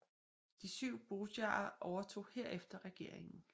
De Syv Bojarer overtog herefter regeringen